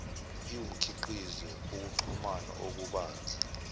iwumkhiqizo wokuxhumana okubanzi